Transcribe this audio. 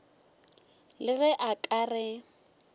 le ge a ka re